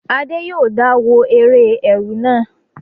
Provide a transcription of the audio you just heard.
Adé yòó dá wo eré ẹ̀rù náà